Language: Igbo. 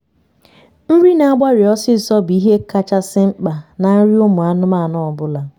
nri n'agbari ọsisọ bụ ihe kachasị mkpa na nri ụmụ anụmanụ ọbụla